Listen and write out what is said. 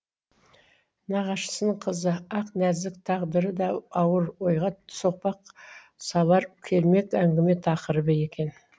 нағашысының қызы ақнәзік тағдыры да ауыр ойға соқпақ салар кермек әңгіме тақырыбы екен